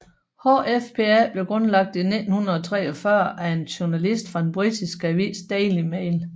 HFPA blev grundlagt i 1943 af en journalist fra den britiske avis Daily Mail